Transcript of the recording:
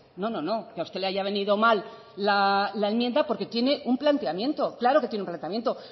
no no no que a usted le haya venido mal la enmienda porque tiene un planteamiento claro que tiene un planteamiento